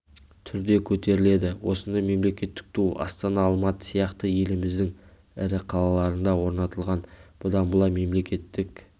түрде көтеріледі осындай мемлекеттік ту астана алматы сияқты еліміздің ірі қалаларында орнатылған бұдан былай мемлекеттік